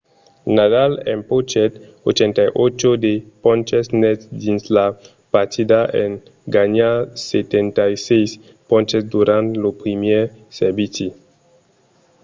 nadal empochèt 88% de ponches nets dins la partida en ganhar 76 ponches durant lo primièr servici